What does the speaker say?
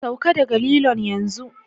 Sauka daga lilon yanzu!